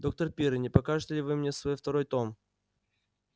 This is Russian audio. доктор пиренн не покажете ли вы мне свой второй том